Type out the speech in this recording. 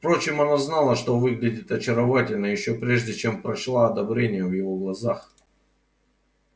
впрочем она знала что выглядит очаровательно ещё прежде чем прочла одобрение в его глазах